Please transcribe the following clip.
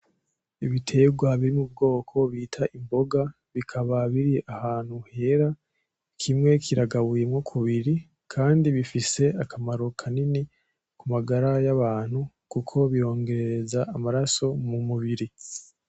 Ibiterwa biri m'ubwoko bita imboga bikaba biri ahantu hera, kimwe kiragabuyemo kubiri, kandi bifise akamaro kanini k'umagara y'abantu kuko birongerereza amaraso mumubiri.